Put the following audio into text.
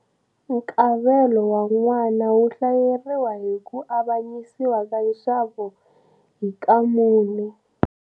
Nkavelo wa n'wana wu hlayeriwa hi ku avanyisiwa ka nxavo hi ka mune.